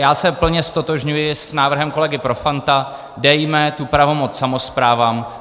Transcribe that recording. Já se plně ztotožňuji s návrhem kolegy Profanta, dejme tu pravomoc samosprávám.